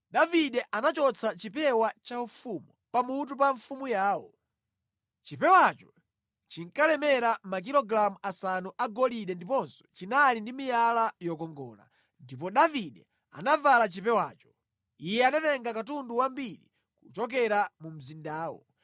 Davide anachotsa chipewa chaufumu pamutu pa mfumu yawo. Chipewacho chinkalemera makilogalamu asanu agolide ndiponso chinali ndi miyala yokongola. Ndipo Davide anavala chipewacho. Iye anatenga katundu wambiri kuchokera mu mzindawo,